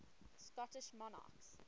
scottish monarchs